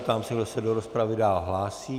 Ptám se, kdo se do rozpravy dál hlásí.